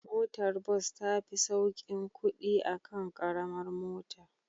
Motar bus tafi saukin kudi akan Karamar mota